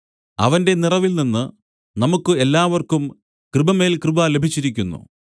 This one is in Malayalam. അവന്റെ നിറവിൽ നിന്നു നമുക്കു എല്ലാവർക്കും കൃപമേൽ കൃപ ലഭിച്ചിരിക്കുന്നു